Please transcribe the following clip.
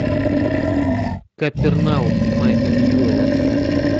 капернаум майка ньюэлла